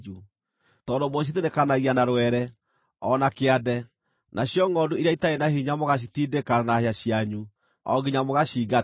Tondũ mũcithinĩkanagia na rwere, o na kĩande, nacio ngʼondu iria itarĩ na hinya mũgacitiindĩka na hĩa cianyu o nginya mũgaciingata,